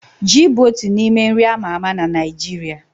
Ji bụ otu n'ime nri a ma ama na Naịjirịa.